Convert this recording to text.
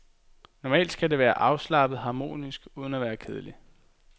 Normalt skal det være afslappet harmonisk, uden at være kedeligt.